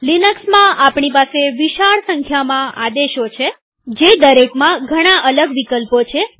લિનક્સમાં આપણી પાસે વિશાળ સંખ્યામાં આદેશો છે જે દરેકમાં ઘણા અલગ વિકલ્પો છે